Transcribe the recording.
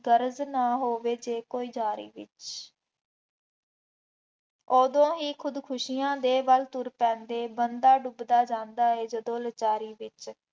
ਗਰਜ਼ ਨਾ ਹੋਵੇ ਜੇਕਰ ਕੋਈ ਚਾਹੇ, ਉਦੋਂ ਹੀ ਖੁਦਕੁਸ਼ੀਆਂ ਦੇ ਵੱਲ ਤੁਰ ਪੈਂਦੇ, ਬੰਦਾ ਟੁੱਟਦਾ ਜਾਂਦਾ ਹੈ ਜਦੋਂ ਲਾਚਾਰੀ ਵਿੱਚ,